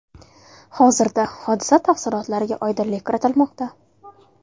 Hozirda hodisa tafsilotlariga oydinlik kiritilmoqda.